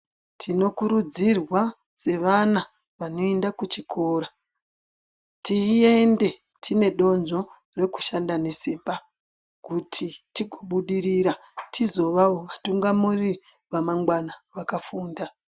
Tinokuridzirwa sevana vanoenda kuchikoro tiende tine donzvo rekushanda nesimba kuti tikobudirira tizo vevatungamiriri vemangwana vakafunda.